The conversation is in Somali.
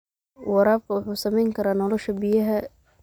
Waraabka wuxuu saameyn karaa nolosha biyaha.